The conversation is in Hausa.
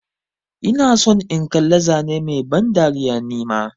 Ina son in kalla zane Mai ban dariya nima.